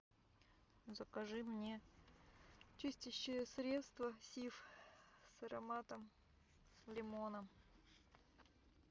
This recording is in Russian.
закажи мне чистящее средство сиф с ароматом лимона